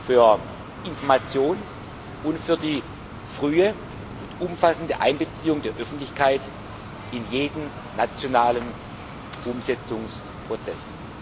für Information und für die frühe und umfassende Einbeziehung der Öffentlichkeit in jeden nationalen Umsetzungsprozess.